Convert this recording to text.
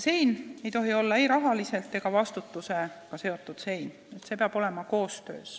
See ei tohi olla ei rahaline ega vastutusega seotud sein, peab olema koostöö.